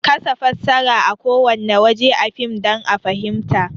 Kasa fassara a kowanne waje a fim dan a fahinmta